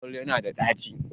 Panadol yana da daci